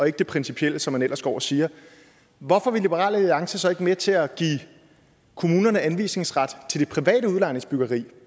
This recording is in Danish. ikke det principielle som man ellers går og siger hvorfor vil liberal alliance så ikke være med til at give kommunerne anvisningsret til det private udlejningsbyggeri